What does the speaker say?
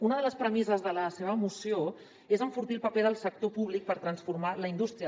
una de les premisses de la seva moció és enfortir el paper del sector públic per transformar la indústria